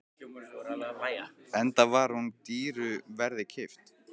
Enda var hún dýru verði keypt.